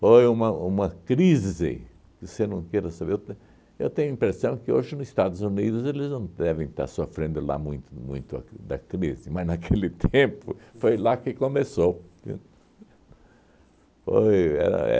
Foi uma uma crise, que você não queira saber, eu te eu tenho a impressão que hoje no Estados Unidos eles não devem estar sofrendo lá muito muito a cr da crise, mas naquele tempo foi lá que começou, viu? Foi era